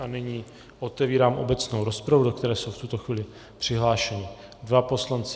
A nyní otevírám obecnou rozpravu, do které jsou v tuto chvíli přihlášeni dva poslanci.